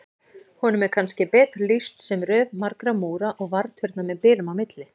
Honum er kannski betur lýst sem röð margra múra og varðturna með bilum á milli.